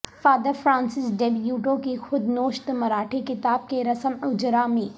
father Francis Dibrito کی خود نوشت مراٹھی کتاب کے رسم اجراء میں